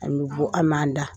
An bɛ bɔ an ma an da.